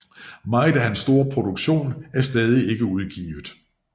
Meget af hans store produktion er stadig ikke udgivet